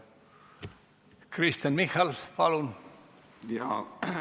Kristen Michal, palun!